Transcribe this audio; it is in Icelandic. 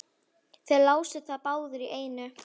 Þeir lásu það báðir í einu.